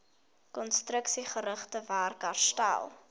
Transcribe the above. konstruksiegerigte werk herstel